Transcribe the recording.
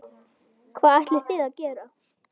Hvað ætlið þið að gera?